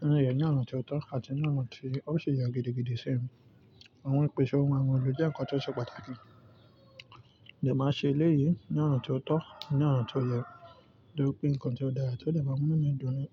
Nínú èyí ní ọ̀nà tí ó tọ́ àti ní ọ̀nà tí ó sì yẹ gidigidi ṣe. Àwọn ìpèsè ohun àwọn le jẹ́ ǹkan tí ó ṣe pàtàkì. Ìjọ máa ṣe eléyìí ní ọ̀nà tí ó tọ́, ní ọ̀nà tí ó yẹ, toripe nǹkan tí ó dára tí ó le bá mímú mi dùn ni.